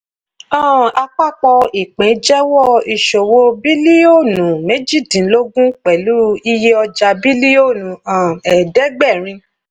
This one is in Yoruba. um àpapọ̀ ìpín jẹ́wọ́ ìṣòwò bílíọ̀nù méjìdínlógún pẹ̀lú iye ọjà bílíọ̀nù um ẹ̀ẹ̀dẹ́gbẹ̀rin.